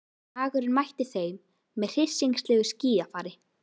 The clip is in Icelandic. Dagurinn mætti þeim með hryssingslegu skýjafari.